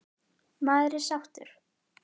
Maður er sáttur.